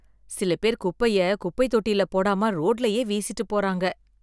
சில பேர் குப்பைய குப்பை தொட்டியில் போடாம ரோட்லயே வீசிட்டுப் போறாங்க